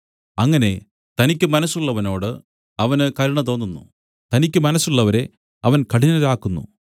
അങ്ങനെ തനിക്കു മനസ്സുള്ളവനോട് അവന് കരുണ തോന്നുന്നു തനിക്കു മനസ്സുള്ളവരെ അവൻ കഠിനരാക്കുന്നു